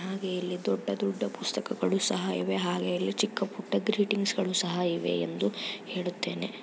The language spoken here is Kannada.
ಹಾಗೆ ಇಲ್ಲಿ ದೊಡ್ಡ ದೊಡ್ಡ ಪುಸ್ತಕಗಳು ಸಹ ಇವೆ ಹಾಗೆ ಇಲ್ಲಿ ಚಿಕ್ಕಪುಟ್ಟ ಗ್ರೀಟಿಂಗ್ಸ್ ಗಳು ಸಹ ಇವೆ ಎಂದು ಹೇಳುತ್ತೇನೆ.